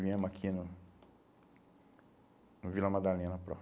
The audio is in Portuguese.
Viemos aqui no no Vila Madalena